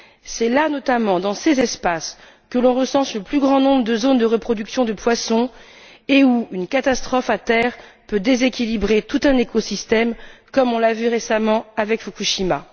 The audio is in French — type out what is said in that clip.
C'est là, notamment, dans ces espaces que l'on recense le plus grand nombre de zones de reproduction de poissons et où une catastrophe à terre peut déséquilibrer tout un écosystème, comme on l'a vu récemment avec Fukushima.